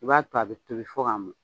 I b'a to a bɛ tobi fo k'a mɔn.